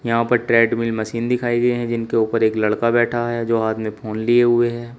यहां पर treadmill machine दिखाइ है है जिनके ऊपर एक लड़का बैठा है जो हाथ में फोन लिए हुए है।